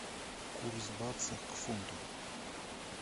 курс баксов к фунту